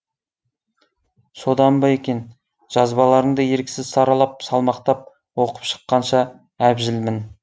содан ба екен жазбаларыңды еріксіз саралап салмақтап оқып шыққанша әбжілмін